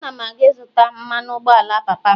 Ana m aga ịzụta mmanụ ụgbọala papa m